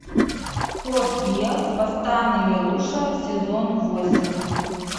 код гиас восстание лелуша сезон восемь